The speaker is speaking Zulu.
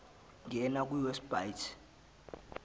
ngena kwi website